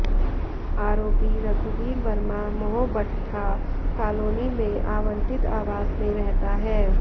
आरोपी रघुवीर वर्मा मोहभट्ठा कॉलोनी में आवंटित आवास में रहता है